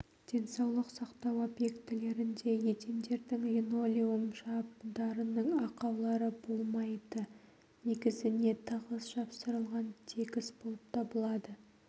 денсаулық сақтау объектілерінде едендердің линолеум жабындарының ақаулары болмайды негізіне тығыз жапсырылған тегіс болып табылады